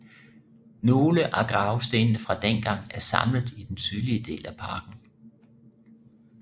Nogle af gravstenene fra dengang er samlet i den sydlige del af parken